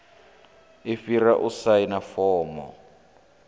i fhira u saina fomo